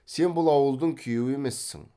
сен бұл ауылдың күйеуі емессің